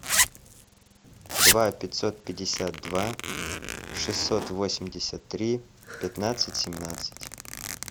два пятьсот пятьдесят два шестьсот восемьдесят три пятнадцать семнадцать